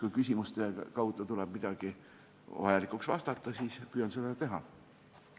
Kui küsimuste kaudu tekib vajadus neid käsitleda, siis püüan seda vastamise käigus teha.